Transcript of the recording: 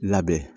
Labɛn